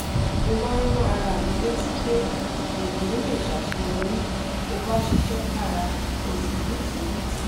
mo máa ń rán ara mi létí pé ènìyàn lè ṣàṣeyọrí ó bá ṣiṣẹ́ kára tó sì ní ìforítì